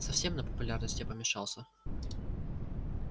совсем на популярности помешался